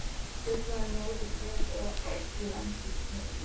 Þetta er bara móðir jörð og ábúendurnir.